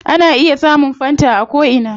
Ana iya samun fanta a ko ina